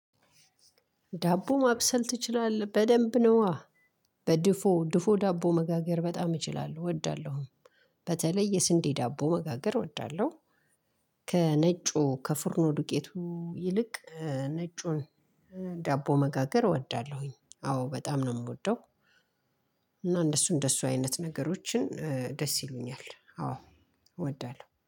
ዳቦ ማብሰል ትችላለህ በደንብ ነው በድፎ ድፎ ዳቦ መጋገር በጣም እችላለሁ እወዳለሁ። በተለይ የስንዴ ዳቦ መጋገር እወዳለሁ። ከነጩ ከፍርኖ ዱቄቱ ይልቅ ነጩን ዳቦ መጋገር እወዳለሁኝ። አዎ በጣም ነው እምወደው። እና እንደሱ እንደሱ አይነት ነገሮችን ደስ ይሉኛል አዎ። እወዳለሁ